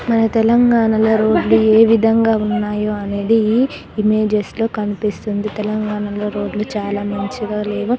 మన తెలంగాణలో రోడ్లు ఏవిధంగా ఉన్నాయో అనేది ఇమేజెస్ లో కనిపిస్తుంది తెలంగాణలో రోడ్లు చాలా మంచిదా లేవు